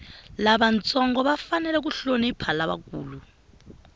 lavantsongo va fanele ku hlonipha lavakulu